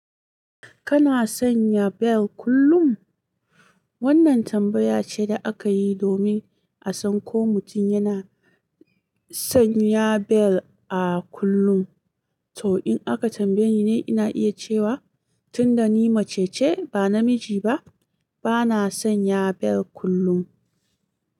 Kana sanya bel kullum? Wannan tambaya ce da aka yi domin a san ko mutum yana sanya bel a kullum. To, in aka tambaye ni, ina iya cewa tunda ni mace ce, ba namiji ba, bana sanya bel kullum.